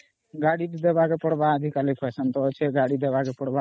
ଗାଡି ଟେ ଦେବାକେ ପଡିବ ଆଜି କାଲି fashion ତା ଅଛେ ଗାଡି ଟେ ଦେବାକେ